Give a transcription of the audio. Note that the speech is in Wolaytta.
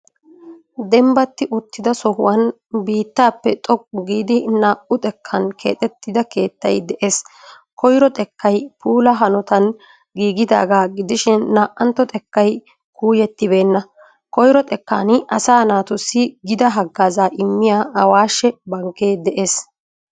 Dembbati uttida sohuwaan biittaappe xooqu giidi naa'u xeekan keexetida keetsyi de'ees. Koyro xeekayi puulaa haanotan giigidaga giidishin na'antto xeekayi kuuyetibeena. Koyiro xeekani asaa naatusi gida haggazza immiyaa awaasha bankke de'ees.